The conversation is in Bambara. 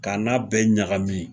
K'a n'a bɛɛ ɲagamin